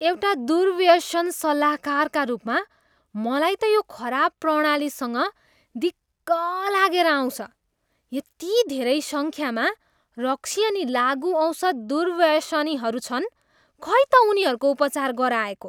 एउटा दुर्व्यसन सल्लाहकारका रूपमा मलाई त यो खराब प्रणालीसँग दिक्क लागेर आउँछ। यति धेरै सङ्ख्यामा रक्सी अनि लागुऔषध दुर्व्यसनीहरू छन्, खै त उनीहरूको उपचार गराएको?